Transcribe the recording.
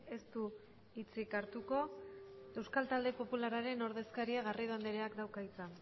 ez du hitzik hartuko euskal talde popularraren ordezkaria garrido andreak dauka hitza